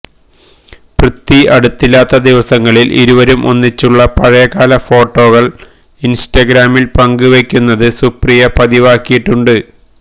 പൃഥ്വി അടുത്തില്ലാത്ത ദിവസങ്ങളിൽ ഇരുവരും ഒന്നിച്ചുളള പഴയകാല ഫൊട്ടോകൾ ഇൻസ്റ്റഗ്രാമിൽ പങ്കുവയ്ക്കുന്നത് സുപ്രിയ പതിവാക്കിയിട്ടുണ്ട്